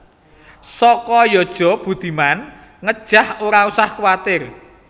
Soko Yojo Budiman nggejah ora usah kuatir